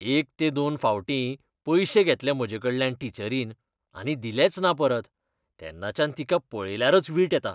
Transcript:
एक ते दोन फावटीं पयशे घेतले म्हाजेकडल्यान टिचरीन आनी दिलेच ना परत, तेन्नाच्यान तिका पळयल्यारच वीट येता.